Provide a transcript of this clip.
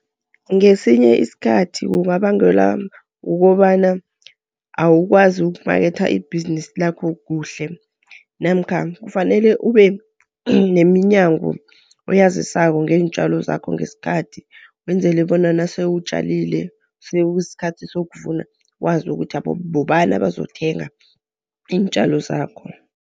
Ngesinye isikhathi kungabangelwa kukobana awukwazi ukumaketha ibhizinisi lakho kuhle. Namkha kufanele ube nemiNyango oyazisako ngeentjalo zakho ngesikhathi, wenzele bona nasewutjalile sekuyisikhathi sokuvuna, wazi ukuthi bobani abazokuthenga iintjalo zakho.